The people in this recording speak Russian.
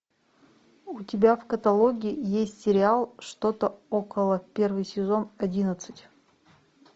у тебя в каталоге есть сериал что то около первый сезон одиннадцать